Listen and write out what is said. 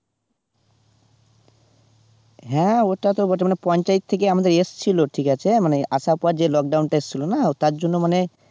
হ্যাঁ ওটা তো বলছে মানে পঞ্চায়েত থেকে আমাদের আসছিল ঠিক আছে মানে আসার পর যে lockdown টা আসছিল না, তার জন্য মানে